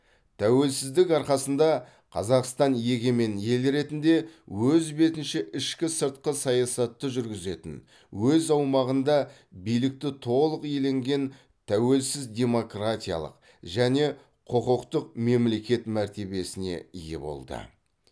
тәуелсіздік арқасында қазақстан егемен ел ретінде өз бетінше ішкі сыртқы саясатты жүргізетін өз аумағында билікті толық иеленген тәуелсіз демократиялық және құқықтық мемлекет мәртебесіне ие болды